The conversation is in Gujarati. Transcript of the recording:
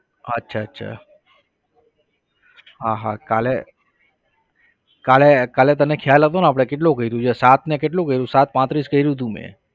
અચ્છા અચ્છા હા હા કાલે કાલે કાલે તને ખ્યાલ હતોને આપણે કેટલું કર્યુ છે સાત ને કેટલું કર્યુ સાત પાંત્રીસ કર્યુ તું મેં